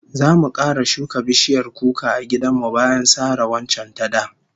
Zamu kara shuka bishiyar kuka a gidan mu bayan sare waccan ta da